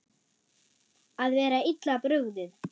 Að vera illa brugðið